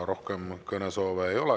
Rohkem kõnesoove ei ole.